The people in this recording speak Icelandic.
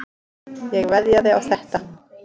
Ég veðjaði á þetta.